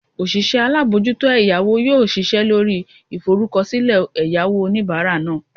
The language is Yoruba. osise alamojuto eyawo yoo sise lori iforukosile eyawo onibara naa